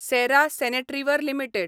सॅरा sanitaryware limited